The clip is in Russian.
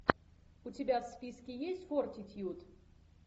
у тебя в списке есть фортитьюд